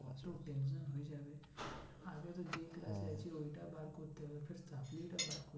ওইটা বার করতে হত